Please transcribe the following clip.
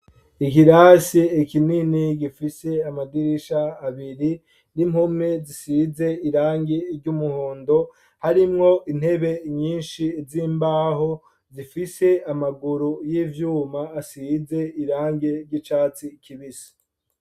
Ikirasi kinini gifise amadirisha abiri n'impome zisize irangi ry'umuhondo harimwo intebe nyinshi z'imbaho zifise amaguru y'ivyuma asize irange ry'icatsi kibisi.